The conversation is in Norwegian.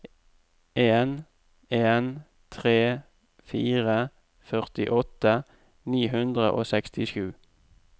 en en tre fire førtiåtte ni hundre og sekstisju